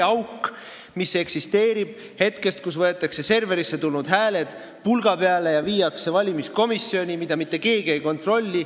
Auk, mis eksisteerib hetkest, mil serverisse tulnud hääled võetakse pulga peale ja viiakse valimiskomisjoni – see auk ei kao.